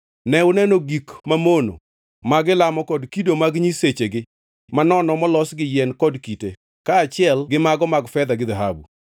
Ne uneno gik mamono ma gilamo kod kido mag nyisechegi manono molos gi yien kod kite, kaachiel gi mago mag fedha gi dhahabu.